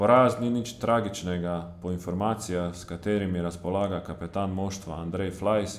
Poraz ni nič tragičnega, po informacijah, s katerimi razpolaga kapetan moštva Andrej Flajs,